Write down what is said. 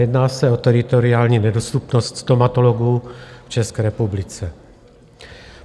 Jedná se o teritoriální nedostupnost stomatologů v České republice.